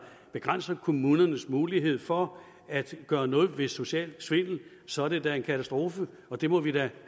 begrænser kommunernes mulighed for at gøre noget ved social svindel så er det da en katastrofe og det må vi have